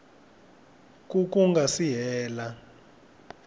ku ku nga si hela